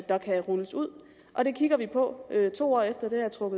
der kan rulles ud og det kigger vi på to år efter